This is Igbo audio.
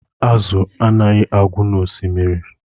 Azụ anaghị agwụ n'Osimiri